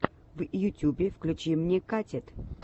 в ютюбе включи мне катит